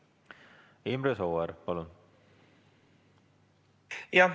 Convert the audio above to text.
Imre Sooäär, palun!